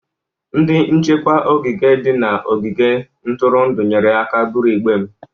Ndị nchekwa ogige dị n'ogige ntụrụndụ nyere aka iburu igbe m.